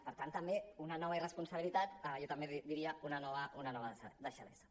per tant també una nova irresponsabilitat jo també en diria una nova deixadesa